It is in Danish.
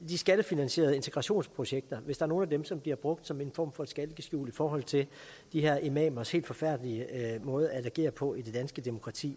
de skattefinansierede integrationsprojekter hvis der er nogle af dem som bliver brugt som en form for skalkeskjul i forhold til de her imamers helt forfærdelige måde at agere på i det danske demokrati